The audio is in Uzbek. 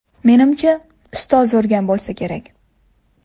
Menimcha, ustozi urgan bo‘lsa kerak.